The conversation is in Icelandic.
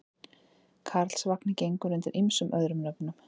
Karlsvagninn gengur undir ýmsum öðrum nöfnum.